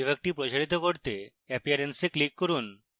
বিভাগটি প্রসারিত করতে appearance এ click করুন